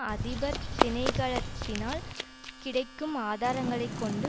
அதிபர் திணைக்களத்தினால் கிடைக்கும் ஆதராங்களைக் கொண்டு